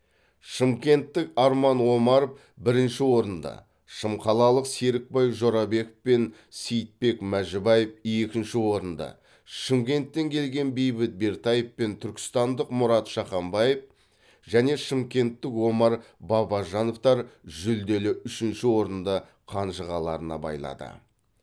шымкенттік арман омаров бірінші орынды шымқалалық серікбай жорабеков пен сейітбек мәжібаев екінші орынды шымкенттен келген бейбіт бертаев пен түркістандық мұрат шаханбаев және шымкенттік омар бабажановтар жүлделі үшінші орынды қанжығаларына байлады